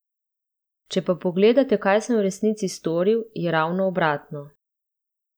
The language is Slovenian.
Če pa pogledate, kaj sem v resnici storil, je ravno obratno.